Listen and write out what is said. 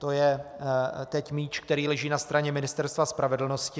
To je teď míč, který leží na straně Ministerstva spravedlnosti.